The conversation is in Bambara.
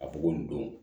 A b'o nin don